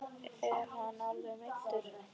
Er hann alvarlega meiddur?